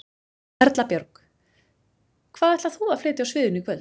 Erla Björg: Hvað ætlar þú að flytja á sviðinu í kvöld?